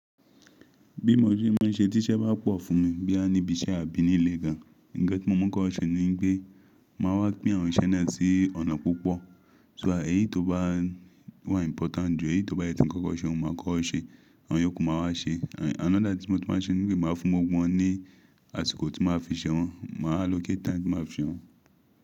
Bí mo ṣe ma n ṣe tí iṣẹ́ bá pọ̀ fún mi, bí a ní ibi iṣẹ́ àbí nílé gan an, ǹjantí mo mọ̀ kọ́ ọ ṣe ni gbé máa wá pín àwọn iṣẹ́ náà sí ọ̀nà púpọ̀. So èyí tó bá wà important jù èyí tó bá yẹ tí ń kọ́kọ́ ṣe mo máa kọ́ ọ ṣe, àwọn yòókù máa wá ṣe. Another tí mo ti máa n ṣe ni gbé máa fún mógbọ̀n ní àsìkò tí mo máa fi ṣe wọ́n, màá allocate time tí màá fi ṣe wọ́n.